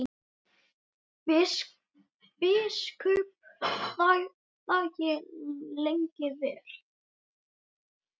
Biskup þagði lengi vel.